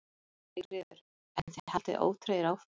Sigríður: En þið haldið ótrauðir áfram?